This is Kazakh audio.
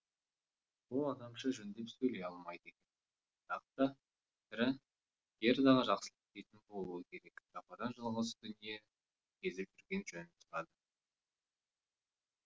ол адамша жөндеп сөйлей алмайды екен бірақ та сірә гердаға жақсылық тілейтін болуы керек жападан жалғыз дүниені кезіп жүрген жөнін сұрады